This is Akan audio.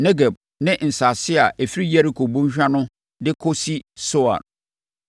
Negeb; ne nsase a ɛfiri Yeriko bɔnhwa no de kɔsi Soar.